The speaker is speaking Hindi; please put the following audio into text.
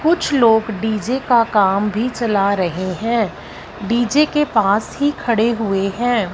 कुछ लोग डी_जे का काम भी चला रहे है डी_जे के पास ही खड़े हुए है।